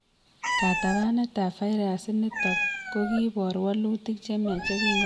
Katabanetab virus initok kokiibor wolutik chemyach yekikebata arawek tutikin